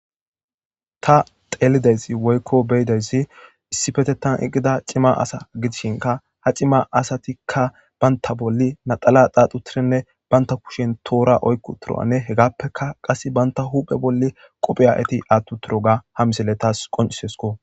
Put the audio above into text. Ta xelaydays woyko beyidaysi issipetetan eqida cima asa gidishinka ha cimma asati banta bolla naxala xaaxi utidinne banta kushen toora oyki utidoganne hegappeka qasi qope banta huphe bolli ati utidoga ha misiley tas qoncisesko.